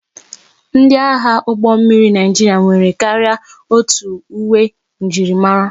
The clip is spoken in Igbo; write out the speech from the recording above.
Ndi agha ụgbọ mmiri Naijiria nwere karịa otu uwe njirimara,